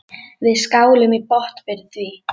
Við skálum í botn fyrir því.